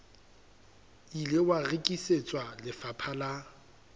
ile wa rekisetswa lefapha la